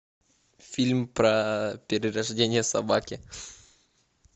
фильм про перерождение собаки